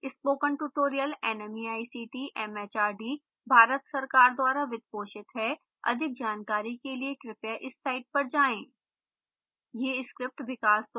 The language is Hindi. spoken tutorial nmeict mhrd Bharat सरकार द्वारा वित्त पोषित हैअधिक जानकारी के लिए कृपया इस साइट पर जाएं